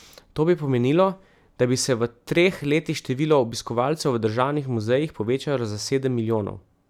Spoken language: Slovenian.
To bi pomenilo, da bi se v treh letih število obiskovalcev v državnih muzejih povečalo za sedem milijonov.